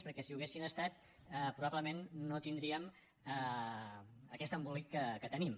perquè si ho haguessin estat probablement no tindríem aquest embolic que tenim